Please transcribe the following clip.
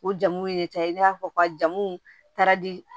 O jamuw ye i n'a fɔ ka jamuw ta di